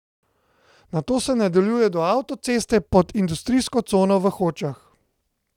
Nato se nadaljuje do avtoceste pod industrijsko cono v Hočah.